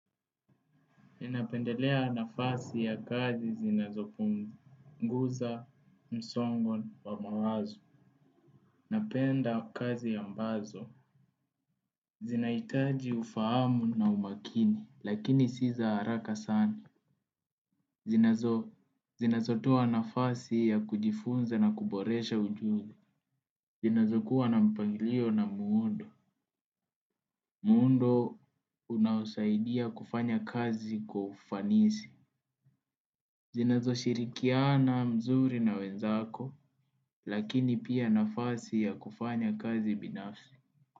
Ninapendelea nafasi ya kazi zinazo punguza, msongo wa mawazo. Napenda kazi ambazo. Zinaitaji ufahamu na umakini, lakini si za haraka sana. Zinazo, zinazo toa nafasi ya kujifunza na kuboresha ujuzi. Zinazo kuwa na mpangilio na muundo. Muundo unaosaidia kufanya kazi kwa ufanisi. Zinazo shirikiana mzuri na wenzako, lakini pia nafasi ya kufanya kazi binafsi.